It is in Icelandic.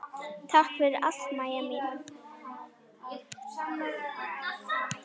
Takk fyrir allt, Mæja mín.